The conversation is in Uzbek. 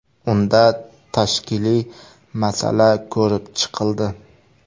Unda tashkiliy masala ko‘rib chiqildi.